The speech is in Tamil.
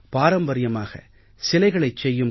பாரம்பரியமாக சிலைகளைச் செய்யும்